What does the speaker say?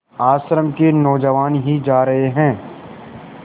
आश्रम के नौजवान ही जा रहे हैं